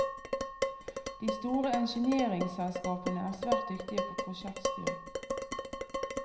De store engineeringselskapene er svært dyktige på prosjektstyring.